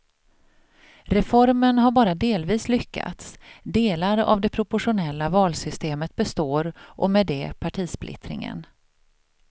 Reformen har bara delvis lyckats, delar av det proportionella valsystemet består och med det partisplittringen.